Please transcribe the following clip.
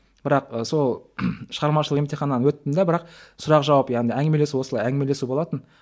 бірақ сол шығармашылық емтиханнан өттім де бірақ сұрақ жауап яғни әңгімелесу осылай әңгімелесу болатын